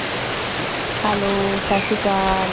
Hello ਸਤਿ ਸ੍ਰੀ ਅਕਾਲ।